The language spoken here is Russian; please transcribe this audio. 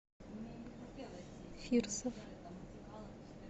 фирсов